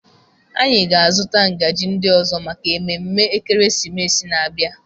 Anyị ga-azụta ngaji ndị ọzọ maka ememe ekeresimesi na-abịa.